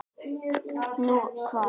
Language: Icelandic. Nú, hvar?